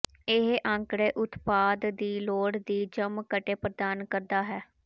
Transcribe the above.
ਇਹ ਅੰਕੜੇ ਉਤਪਾਦ ਦੀ ਲੋੜ ਦੀ ਜਮਘਟੇ ਪ੍ਰਦਾਨ ਕਰਦਾ ਹੈ